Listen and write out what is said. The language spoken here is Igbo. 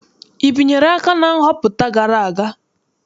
I binyere aka na nhọpụta gara aga?